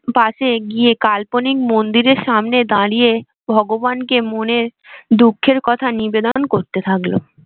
পাশে গিয়ে কাল্পনিক মন্দিরের সামনে দাঁড়িয়ে ভগবান কে মনের দুঃখের কথা নিবেদন করতে থাকলো।